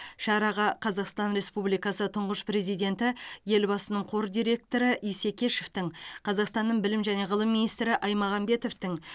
шараға қазақстан республикасы тұңғыш президенті елбасының қор дирекоры исекешевтің қазақстанның білім және ғылым министрі аймағамбетовтің